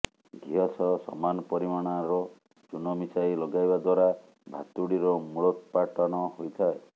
ଘିଅ ସହ ସମାନ ପରିମାଣାର ଚୁନ ମିଶାଇ ଲଗାଇବା ଦ୍ୱାରା ଭାତୁଡ଼ିର ମୂଳୋତ୍ପାଟନ ହୋଇଥାଏ